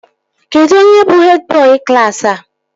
Kedụ onye bụ hed bọị klaasị a?